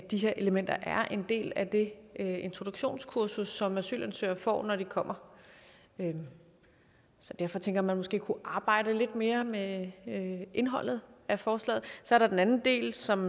de her elementer er en del af det introduktionskursus som asylansøgere får når de kommer så derfor tænker man måske kunne arbejde lidt mere med indholdet af forslaget så er der den anden del som